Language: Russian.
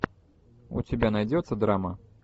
у тебя найдется драма